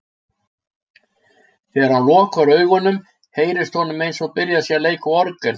Þegar hann lokar augunum, heyrist honum eins og byrjað sé að leika á orgel.